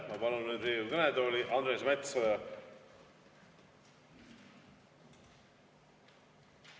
Ma palun nüüd Riigikogu kõnetooli Andres Metsoja.